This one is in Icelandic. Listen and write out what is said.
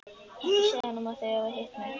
Ekki segja honum að þið hafið hitt mig.